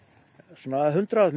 svona hundrað